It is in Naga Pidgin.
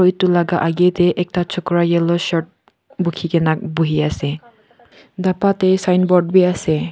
etu laga age te ekta chokora yellow shirt bukhikena buhi ase dhapa te signboard bi ase.